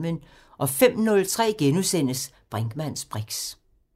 05:03: Brinkmanns briks *